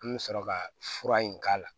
An bɛ sɔrɔ ka fura in k'a la